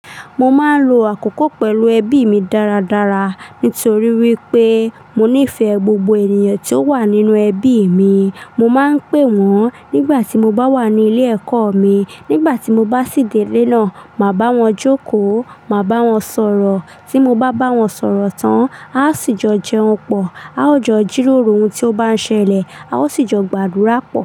Mo máa ń lo àkókò pẹ̀lú ẹbí mi dáradára nítorí wípé mo nífẹ̀ẹ́ gbogbo ènìyàn tí ó wà nínú ẹbí mi. Mo máa ń pè wọ́n nígbà tí mo bá wà ní ilé ẹ̀kọ́ mi. Nígbà tí mo bá sì dé ilé náà, màá bá wọn jókòó, màá bá wọn sọ̀rọ̀. Tí mo bá bá wọn sọ̀rọ̀ tán, a ó sì jọ jẹun pọ̀, a ó jọ jíroro ohun tí ó bá ń ṣẹlẹ̀, a ó sì jọ gbàdúrà pọ̀